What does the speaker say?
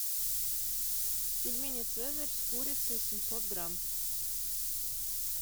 пельмени цезарь с курицей семьсот грамм